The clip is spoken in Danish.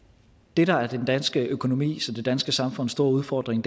det der er den danske økonomis og det danske samfunds store udfordring